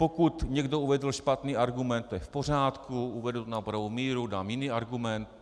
Pokud někdo uvedl špatný argument, to je v pořádku, uvedu to na pravou míru, dám jiný argument.